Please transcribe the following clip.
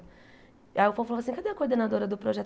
Aí o povo falava assim, cadê a coordenadora do projeto?